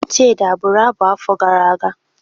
Chidi abụru abụ afọ gara aga?